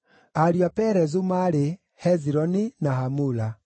Ariũ a Perezu maarĩ: Hezironi na Hamula.